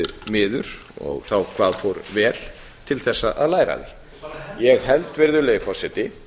miður og hvað fór vel til þess að læra af því ég held virðulegi forseti